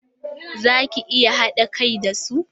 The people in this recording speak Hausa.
Za ki iya haɗa kai da su?